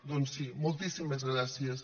doncs sí moltíssimes gràcies